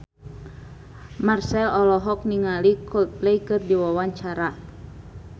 Marchell olohok ningali Coldplay keur diwawancara